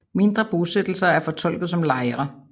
Mindre bosættelser er fortolket som lejre